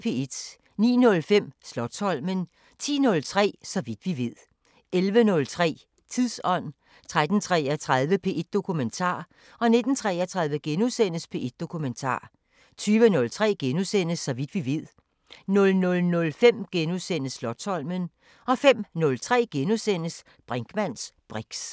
09:05: Slotsholmen 10:03: Så vidt vi ved 11:03: Tidsånd 13:33: P1 Dokumentar 19:33: P1 Dokumentar * 20:03: Så vidt vi ved * 00:05: Slotsholmen * 05:03: Brinkmanns briks *